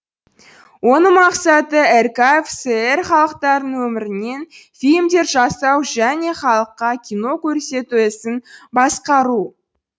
оның мақсаты ркфср халықтарының өмірінен фильмдер жасау және халыққа кино көрсету ісін басқару